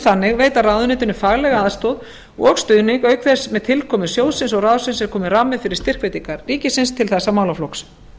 þannig veita ráðuneytinu faglega aðstoð og stuðning auk þess að með tilkomu sjóðsins og ráðsins er kominn rammi fyrir styrkveitingar ríkisins til þessa málaflokks